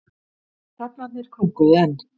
Hrafnarnir krunkuðu enn.